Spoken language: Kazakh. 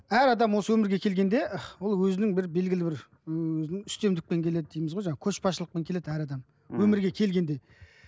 әр адам осы өмірге келгенде ол өзінің бір белгілі бір өзінің үстемдікпен келеді дейміз ғой жаңағы көшбасшылықпен келеді әр адам ммм өмірге келгенде